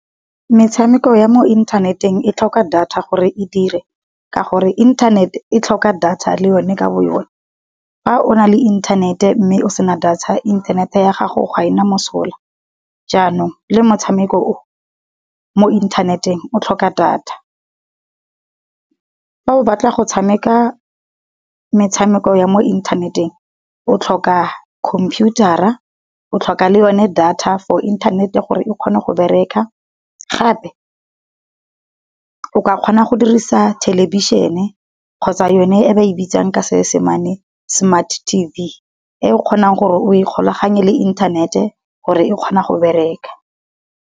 Metshameko ya mo inthaneteng e tlhoka data gore e dire, ka gore internet e tlhoka data le yone ka bo yona. Fa o na le inthanete mme o sena data inthanete ya gago ga ena mosola. Jaanong le motshameko o, mo inthaneteng o tlhoka data. Fa o batla go tshameka metshameko ya mo inthaneteng, o tlhoka khomphiutara, o tlhoka le yone data for inthanete gore e kgone go bereka. Gape o ka kgona go dirisa thelebišhene kgotsa yone e ba e bitsang ka Seesimane smart tv e o kgonang gore o ikgolaganye le inthanete gore e kgone go bereka.